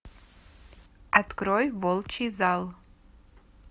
открой волчий зал